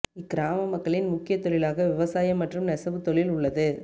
இக்கிராம மக்களின் முக்கியத் தொழிலாக விவசாயம் மற்றும் நெசவு தொழில் உள்ளது